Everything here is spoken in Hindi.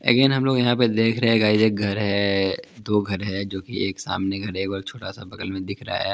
अगेन हम लोग यहाँ पे देख रहे है गाइज एक घर है दो घर हैं जो की एक सामने घर है एक छोटा सा बगल में दिख रहा है।